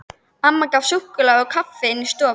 Amma gaf súkkulaði og kaffi inni í stofu.